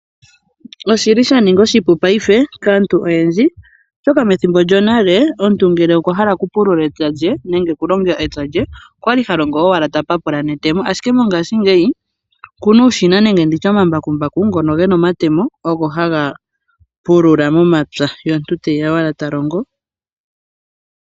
Oshili sha ninga oshipu paife kaantu oyendji, oshoka methimbo lyonale omuntu ngele owa hala oku pulula epya lye nenge ta longo epya lye okwali ha longo owala tapapula netemo, ashike mongaashingeyi okuna uushina nenge imambakumbaku gatya omatemo ngono haga pulula momapya ye omutu teya owala ta longo.